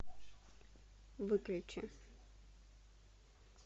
выключи